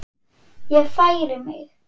Ég færi mig.